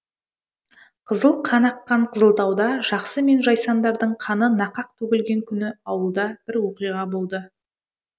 қызыл қан аққан қызылтауда жақсы мен жайсаңдардың қаны нақақ төгілген күні ауылда бір оқиға болды